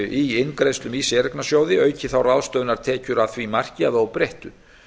í inngreiðslum í séreignarsjóði auki þá ráðstöfunartekjur að því marki að óbreyttu